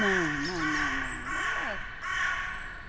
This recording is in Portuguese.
Não, não, não, não. É, as...